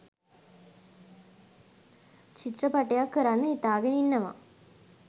චිත්‍රපටයක් කරන්න හිතාගෙන ඉන්නවා.